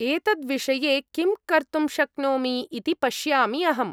एतद्विषये किं कर्तुं शक्नोमि इति पश्यामि अहम्।